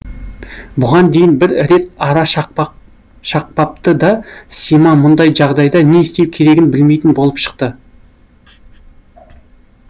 бұған дейін бір рет ара шақпапты да сима мұндай жағдайда не істеу керегін білмейтін болып шықты